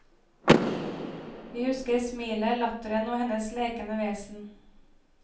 Vi husker smilet, latteren og hennes lekende vesen.